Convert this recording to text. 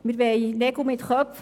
Wir wollen Nägel mit Köpfen.